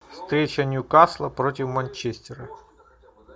встреча ньюкасла против манчестера